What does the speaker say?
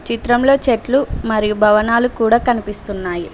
చిత్రంలో చెట్లు మరియు భవనాలు కూడా కనిపిస్తున్నాయి.